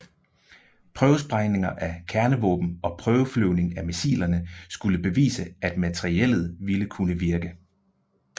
Prøvesprængninger af kernevåben og prøveflyvning af missilerne skulle bevise at materiellet ville kunne virke